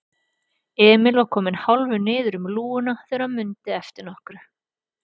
Emil var kominn hálfur niður um lúguna þegar hann mundi eftir nokkru.